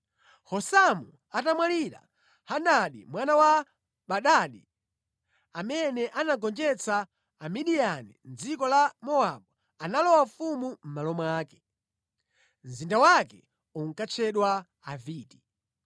Husamu atamwalira, Hadadi mwana wa Bedadi, amene anagonjetsa Amidiyani mʼdziko la Mowabu, analowa ufumu mʼmalo mwake. Mzinda wake unkatchedwa Aviti.